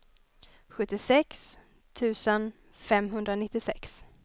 sjuttiosex tusen femhundranittiosex